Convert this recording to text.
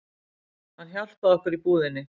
Hann hjálpaði okkur í búðinni